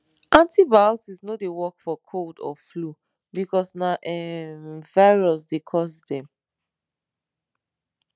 antibiotics no dey work for cold or flu because na um virus dey cause dem